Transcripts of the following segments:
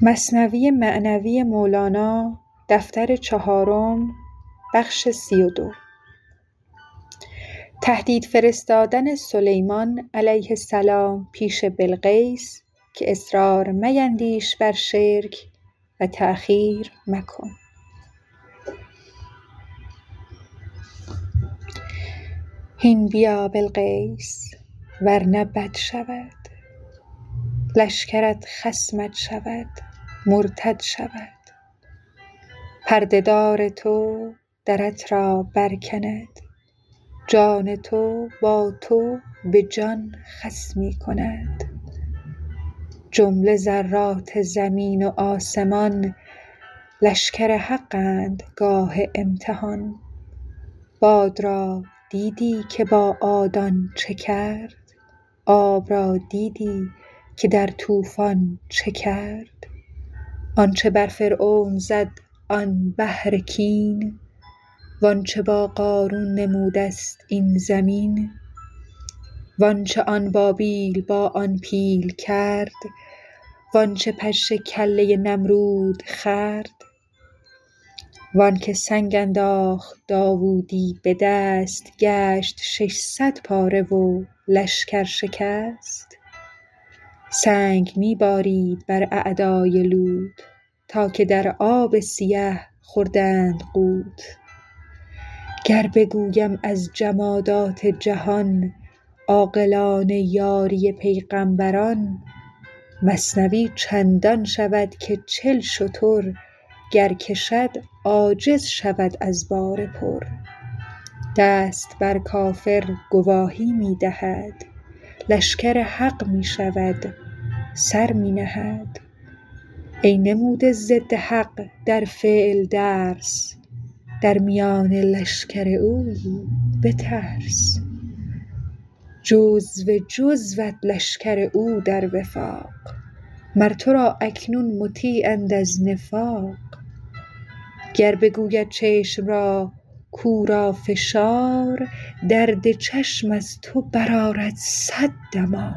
هین بیا بلقیس ورنه بد شود لشکرت خصمت شود مرتد شود پرده دار تو درت را بر کند جان تو با تو به جان خصمی کند جمله ذرات زمین و آسمان لشکر حق اند گاه امتحان باد را دیدی که با عادان چه کرد آب را دیدی که در طوفان چه کرد آنچ بر فرعون زد آن بحر کین وآنچ با قارون نمودست این زمین وآنچ آن بابیل با آن پیل کرد وآنچ پشه کله نمرود خورد وآنک سنگ انداخت داودی بدست گشت شصد پاره و لشکر شکست سنگ می بارید بر اعدای لوط تا که در آب سیه خوردند غوط گر بگویم از جمادات جهان عاقلانه یاری پیغامبران مثنوی چندان شود که چل شتر گر کشد عاجز شود از بار پر دست بر کافر گواهی می دهد لشکر حق می شود سر می نهد ای نموده ضد حق در فعل درس در میان لشکر اویی بترس جزو جزوت لشکر او در وفاق مر ترا اکنون مطیع اند از نفاق گر بگوید چشم را کو را فشار درد چشم از تو بر آرد صد دمار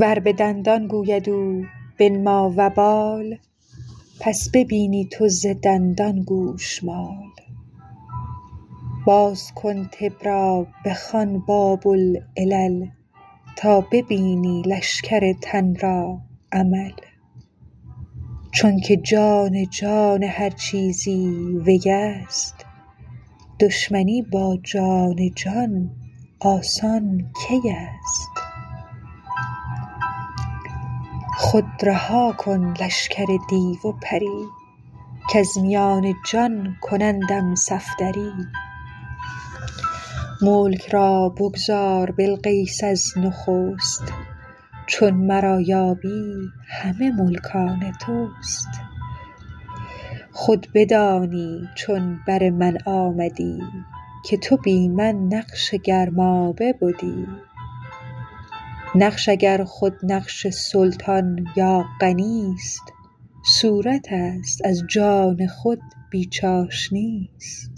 ور به دندان گوید او بنما وبال پس ببینی تو ز دندان گوشمال باز کن طب را بخوان باب العلل تا ببینی لشکر تن را عمل چونک جان جان هر چیزی ویست دشمنی با جان جان آسان کیست خود رها کن لشکر دیو و پری کز میان جان کنندم صفدری ملک را بگذار بلقیس از نخست چون مرا یابی همه ملک آن تست خود بدانی چون بر من آمدی که تو بی من نقش گرمابه بدی نقش اگر خود نقش سلطان یا غنیست صورتست از جان خود بی چاشنیست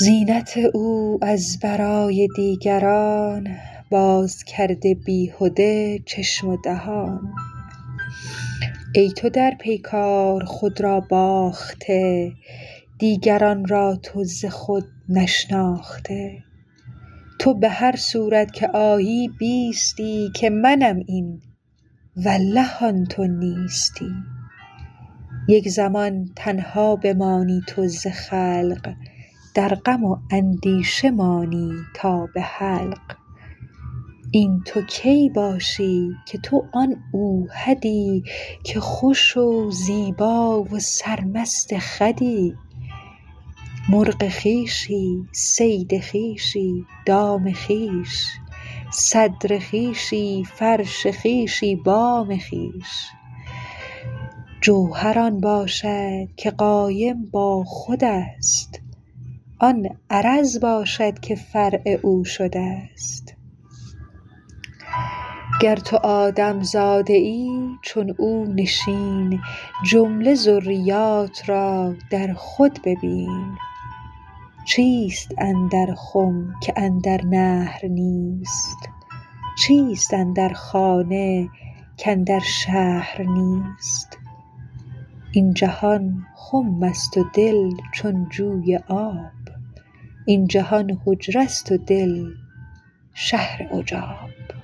زینت او از برای دیگران باز کرده بیهده چشم و دهان ای تو در بیگار خود را باخته دیگران را تو ز خود نشناخته تو به هر صورت که آیی بیستی که منم این والله آن تو نیستی یک زمان تنها بمانی تو ز خلق در غم و اندیشه مانی تا به حلق این تو کی باشی که تو آن اوحدی که خوش و زیبا و سرمست خودی مرغ خویشی صید خویشی دام خویش صدر خویشی فرش خویشی بام خویش جوهر آن باشد که قایم با خودست آن عرض باشد که فرع او شدست گر تو آدم زاده ای چون او نشین جمله ذریات را در خود ببین چیست اندر خم که اندر نهر نیست چیست اندر خانه کاندر شهر نیست این جهان خمست و دل چون جوی آب این جهان حجره ست و دل شهر عجاب